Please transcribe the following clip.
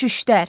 Şüştər.